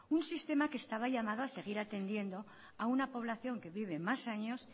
un sistema que estaba llamado a seguir atendiendo a una población que vive más años